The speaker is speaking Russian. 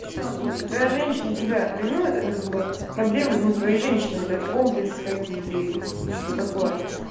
то что твоя женщина тебя ревнует это как бы проблемы ну твоей женщины видать комплексы какие-то и что-то такое